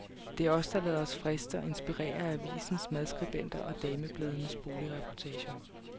Det er os, der lader os friste og inspirere af avisens madskribenter og damebladenes boligreportager.